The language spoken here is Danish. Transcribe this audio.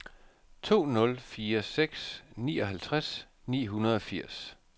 to nul fire seks nioghalvtreds ni hundrede og firs